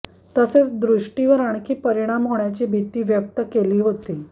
तसेच दृष्टीवर आणखी परिणाम होण्याची भीती व्यक्त केली होती